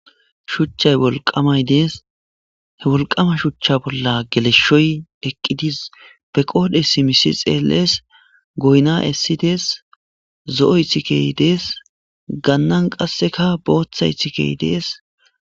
Shuchchay wolqamay deesi, he wolqama shuchcha bolla geleshshoy eqqi be qoodhdhe simis xeelles, goyna essides, zo'o iththikey dees, gannan qasseka booththa iththikey dees.